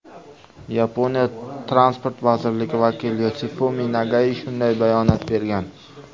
Yaponiya transport vazirligi vakili Yosifumi Nagai shunday bayonot bergan.